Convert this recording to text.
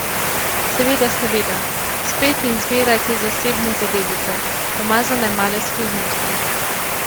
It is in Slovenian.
Seveda, seveda, spet in zmeraj te zasebne zadevice, umazane male skrivnosti.